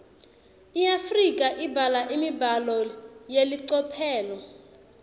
iafrika ibhala imibhalo yelicophelo